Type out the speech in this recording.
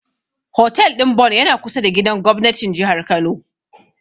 Hotel ɗin Bon yana kusa da gidan gobnatin Jihar Kano.